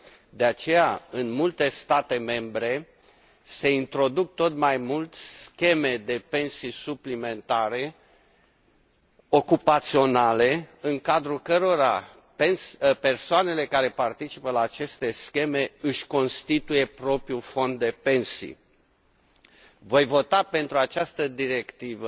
De aceea, în multe state membre, se introduc tot mai mult scheme de pensii suplimentare, ocupaționale, în cadrul cărora persoanele care participă la aceste scheme își constituie propriul fond de pensii. Voi vota pentru această directivă